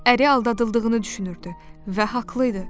Əri aldadıldığını düşünürdü və haqlı idi.